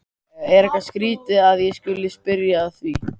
Er eitthvað skrýtið að ég skuli spyrja að því?